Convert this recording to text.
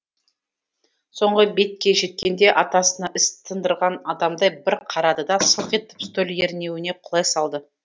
соңғы бетке жеткенде атасына іс тындырған адамдай бір қарады да сылқ етіп стөл ернеуіне құлай салды